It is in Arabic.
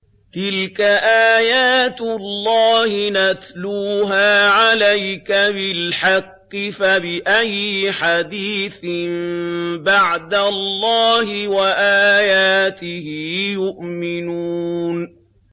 تِلْكَ آيَاتُ اللَّهِ نَتْلُوهَا عَلَيْكَ بِالْحَقِّ ۖ فَبِأَيِّ حَدِيثٍ بَعْدَ اللَّهِ وَآيَاتِهِ يُؤْمِنُونَ